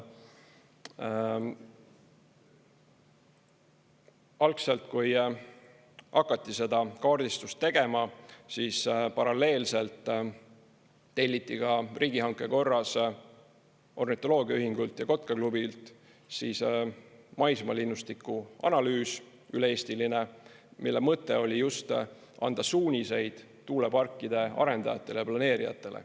Algselt, kui hakati seda kaardistust tegema, siis paralleelselt telliti ka riigihanke korras ornitoloogiaühingult ja Kotkaklubilt siis maismaa linnustiku analüüs, üle-eestiline, mille mõte oli just anda suuniseid tuuleparkide arendajatele ja planeerijatele.